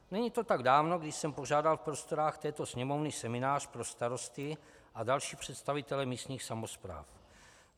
Není to tak dávno, kdy jsem pořádal v prostorách této Sněmovny seminář pro starosty a další představitele místních samospráv.